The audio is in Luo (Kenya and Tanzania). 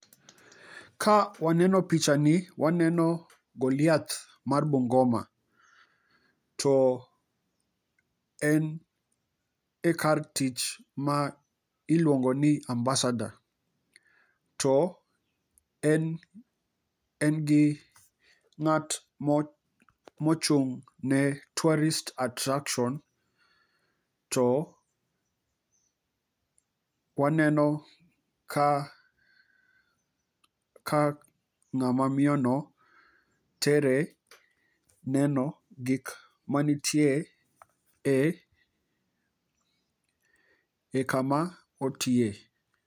Ka waneno picha ni waneo Goliath mar Bungoma, to en e kar tich ma iluongo ni Ambasador. To en gi ng'at mochung'ne tourist attraction, to waneno ka ng'ama miyo no tere neno gik manitie e kama otiye.